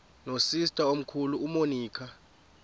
nosister omkhulu umonica